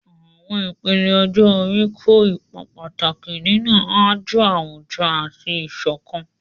Àwọn ìpele ọjọ́ orí kó ipa pàtàkì nínú àjọ àwùjọ àti ìṣọ̀kan.